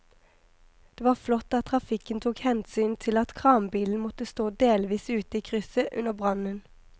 Det var flott at trafikken tok hensyn til at kranbilen måtte stå delvis ute i krysset under brannen.